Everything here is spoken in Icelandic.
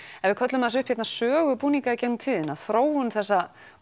ef við köllum aðeins upp hérna sögu búninga í gegnum tíðina þróun þessa